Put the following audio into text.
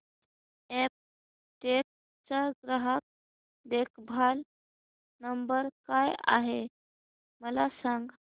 Aptech चा ग्राहक देखभाल नंबर काय आहे मला सांग